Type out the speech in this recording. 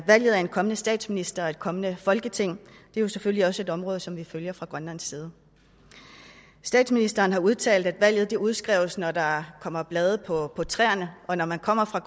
valget af en kommende statsminister og et kommende folketing er selvfølgelig også et område som vi følger fra grønlands side statsministeren har udtalt at valget udskrives når der kommer blade på træerne og når man kommer fra